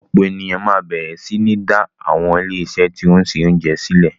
Ọ̀pọ̀ ènìyàn máa bẹ̀rẹ̀ sí ní dá àwọn ilé-iṣé tí ó ń ṣe oúnjẹ sílẹ̀.